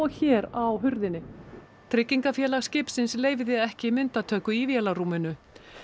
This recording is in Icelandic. hér á hurðinni tryggingafélag skipsins leyfði ekki myndatöku í vélarrúminu